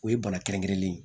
O ye bana kɛrɛnkɛrɛnlen